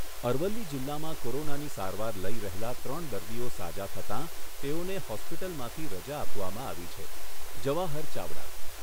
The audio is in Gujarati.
અરવલ્લી જિલ્લામાં કોરોનાની સારવાર લઈ રહેલા ત્રણ દર્દીઓ સાજા થતાં તેઓને હૉસ્પિટલમાંથી રજા આપવામાં આવી છે, જવાહર ચાવડા